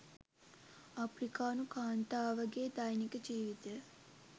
අප්‍රිකානු කාන්තාවගේ දෛනික ජීවිතය